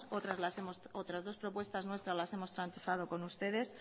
otras dos propuestas nuestras las hemos transado con ustedes